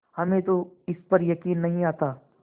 हमें तो इस पर यकीन नहीं आता